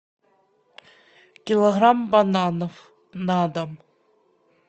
килограмм бананов на дом